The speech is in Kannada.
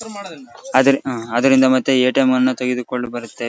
ಆದ್ರೆ ಅಹ್ ಅದ್ರಿಂದ ಮತ್ತೆ ಎ.ಟಿ.ಎಮ್ ಅನ್ನು ತೆಗೆದುಕೊಳ್ಳುಬರುತ್ತೆ .